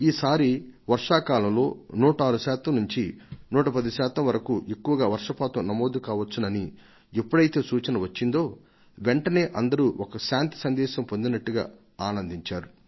ఈ సారి వర్షాకాలంలో 106 శాతం నుంచి 110 శాతం వరకు ఎక్కువగా వర్షపాతం నమోదుకావచ్చునని ఎప్పుడైతే సూచన వచ్చిందో వెంటనే అందరూ ఒక శాంతి సందేశం పొందినట్టుగా ఆనందించారు